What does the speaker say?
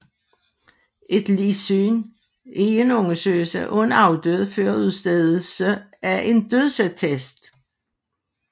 Et ligsyn er en undersøgelse af en afdød før udstedelse af en dødsattest